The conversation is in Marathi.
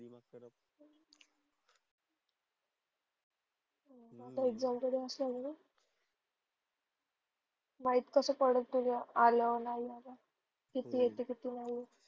आता exame च दिवस आल माहित कस पडल तुल आल नही आल किति येते नही येत?